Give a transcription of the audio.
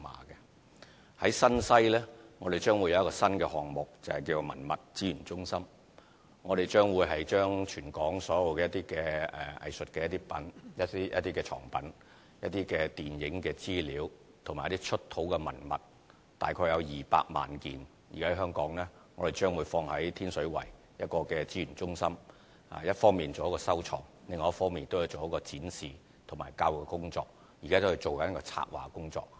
於新西，我們將有一個新項目，就是文物資源中心，我們將會把全港所有的藝術藏品、電影資料和出土文物，大約有200萬件，存放於天水圍的資源中心，一方面作收藏，另一方面作展示和教育工作，現正進行策劃的工作。